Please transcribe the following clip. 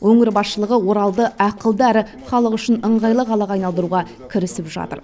өңір басшылығы оралды ақылды әрі халық үшін ыңғайлы қалаға айналдыруға кірісіп жатыр